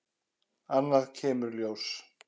Annað kemur ljós